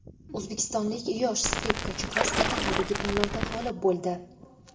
O‘zbekistonlik yosh skripkachi qiz Italiyadagi tanlovda g‘olib bo‘ldi.